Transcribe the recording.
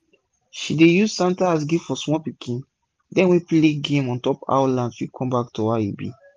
she dey use canta as gifts for sma pikin dem wey play game ontop how land fit com back to how e be